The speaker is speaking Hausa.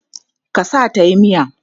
Ka sa ta tayi miya?